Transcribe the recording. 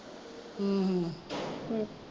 ਹਮ ਹਮ